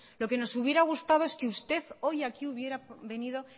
lo que nos hubiera gustado es que usted hoy aquí hubiera venido